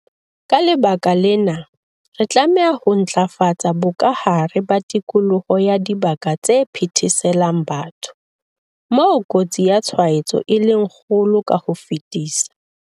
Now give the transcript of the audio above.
Ka lebaka lena, re tlameha ho ntlafatsa bokahare ba tikoloho ya dibaka tse phetheselang batho, moo kotsi ya tshwaetso e leng kgolo ka ho fetisisa.